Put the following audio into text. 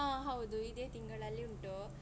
ಆ ಹೌದು ಇದೇ ತಿಂಗಳಲ್ಲಿ ಉಂಟು.